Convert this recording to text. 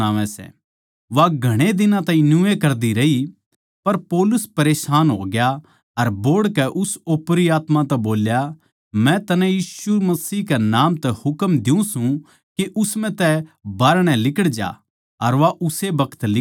वा घणे दिनां ताहीं न्यूए कर दी रही पर पौलुस परेशान होग्या अर बोहड़कै उस ओपरी आत्मा तै बोल्या मै तन्नै यीशु मसीह कै नाम तै हुकम दियुँ सूं के उस म्ह तै बाहरणै लिकड़ जा अर वा उस्से बखत लिकड़गी